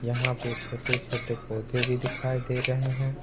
यहां पे छोटे छोटे पौधे भी दिखाई दे रहे हैं।